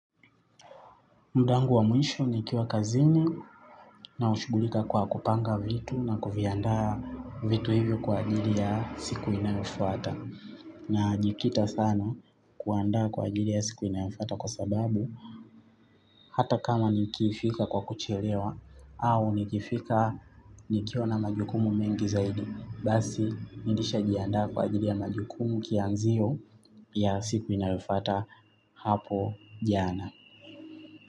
Muda wangu wa mwisho nikiwa kazini nashugulika kwa kupanga vitu na kuviandaa vitu hivyo kwa ajili ya siku inayofuata. Na jikita sana kuandaa kwa ajili ya siku inayofata kwa sababu hata kama nikifika kwa kuchelewa au nikifika nikiona majukumu mengi zaidi. Basi, nilisha jiandaa kwa ajili ya majukumu kianzio ya siku inayofuata hapo jana.